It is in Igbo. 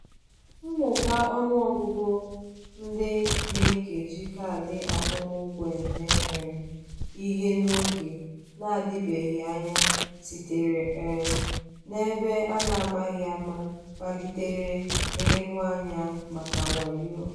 mmụba ọnụ ọgụgụ ndị na-eji kaadị akwụmụgwọ eme um ihe n'oge na-adịbeghị anya sitere um na ebe a na-amaghị ama kpalitere nleruanya maka wayo.